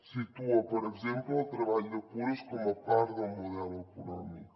situa per exemple el treball de cures com a part del model econòmic